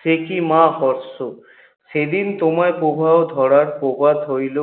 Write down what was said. সে কী মা সেদিন তোমায় প্রবাহ ধরায় হইল